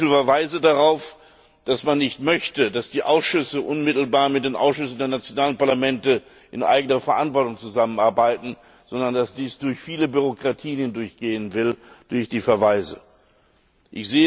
Ich sehe zu viele Verweise darauf, dass man nicht möchte, dass die Ausschüsse unmittelbar mit den Ausschüssen der nationalen Parlamente in eigener Verantwortung zusammenarbeiten, sondern dass dies über viele Bürokratien laufen soll.